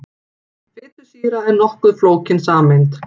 Fitusýra er nokkuð flókin sameind.